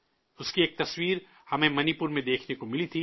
اس کی ایک اور تصویر ہمیں منی پور میں دیکھنے کو ملی تھی